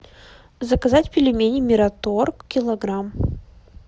заказать пельмени мираторг килограмм